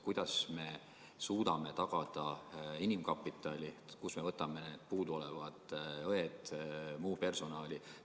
Kuidas me suudame tagada inimkapitali, kust me võtame need puuduolevad õed ja muu personali?